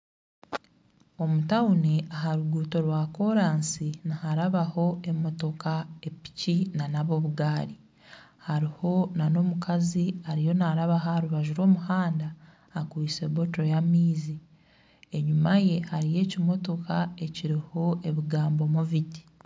Omu tawuni aha ruguuto rwa koransi niharabo emotoka epiki n'obugaari. Hariho n'omukazi ariyo naarabaho aha rubaju rw'omuhanda akwaitse ecupa y'amaizi. Enyima ye hariyo ekimotoka ekiriho ebigambo Moviti.